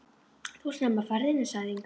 Þú ert snemma á ferðinni, sagði Inga.